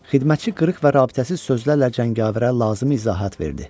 Xidmətçi qırıq-qırıq və rabitəsiz sözlərlə cəngavərə lazımi izahat verdi.